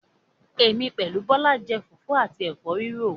Èmi pẹ̀lú Bọlá ń jẹ́ fufu àti Ẹ̀fọ́ rírò